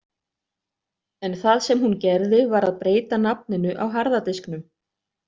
En það sem hún gerði var að breyta nafninu á harða disknum.